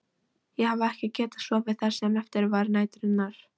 Ég hafði ekki getað sofið það sem eftir var næturinnar.